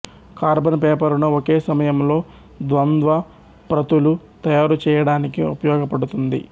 carbon పేపరును ఒకే సమయంలో ద్వంద్వ ప్రతులు తయారుచేయడానికి ఉపయెగపడుతుంది